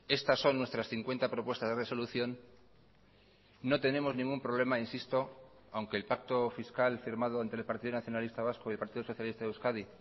estas son nuestras cincuenta propuestas de resolución no tenemos ningún problema insisto aunque el pacto fiscal firmado entre el partido nacionalista vasco y el partido socialista de euskadi